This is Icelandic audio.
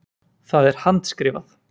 Það er handskrifað.